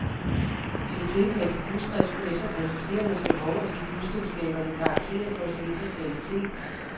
De vil tilpasse busdriften efter passagerernes behov og give busselskaberne karakterer for at sikre kvaliteten.